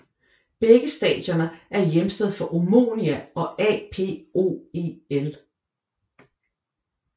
Begge stadioner er hjemsted for Omonia og APOEL